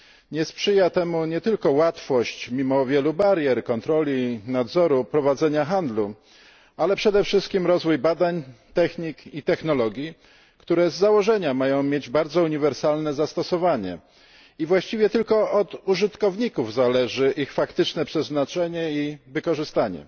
Nie sprzyja temu nie tylko łatwość, mimo wielu barier, kontroli, nadzoru nad prowadzeniem handlu, ale przede wszystkim rozwój badań, technik i technologii, które z założenia mają mieć bardzo uniwersalne zastosowanie, i właściwie tylko od użytkowników zależy ich faktyczne przeznaczenie i wykorzystanie.